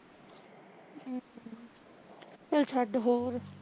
ਚੱਲ ਛੱਡ ਹੋਰ